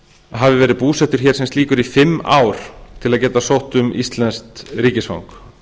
hafi verið búsettur hér í fimm ár til að geta sótt um íslenskt ríkisfang